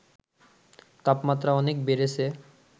তাপমাত্রা অনেক বেড়েছে